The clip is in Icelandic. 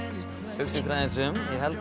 hugsið ykkur aðeins um